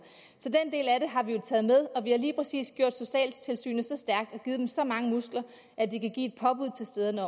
og vi har lige præcis gjort socialtilsynene så stærke og givet dem så mange muskler at de kan give et påbud til stederne